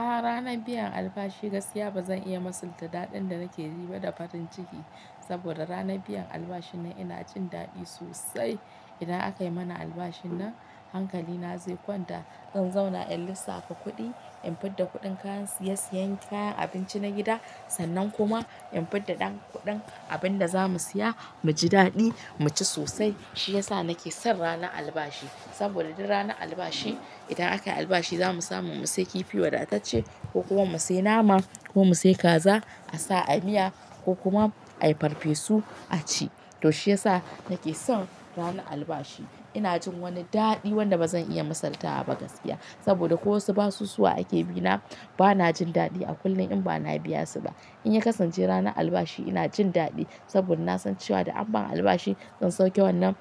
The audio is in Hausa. A ranar biyan albashi gaskiya bazan iya misalta daɗin da nake ji ba da farin ciki. Saboda ranar biyan albashin nan ina jin daɗi sosai. Idan aka yi mana albashin nan hankali na zai kwanta. In zauna in lissafa kuɗi, in fid da kuɗin kayan siye-siyen kayan abinci na gida sannan kuma in fid da ɗan kuɗin abin da zamu siya, mu ji daɗi mu ci sosai. Shi yasa nake son ranar albashi. Saboda duk ranar albashi idan aka yi albashi zamu samu mu siya kifi wada ta ce, ko kuma mu siya nama ko mu siya kaza, a sa a miya ko kuma a yi farfesu a ci. To shi yasa nake son ranar albashi. Ina jin wani daɗi wanda ba zan iya misaltawa ba gaskiya. Saboda ko wasu basusuwa ake bi na, ba na jin daɗi a kullum in ba na biya su ba. In ya kasance ranar albashi ina jin daɗi, saboda na san cewa idan an ba albashi zan sauke wannan,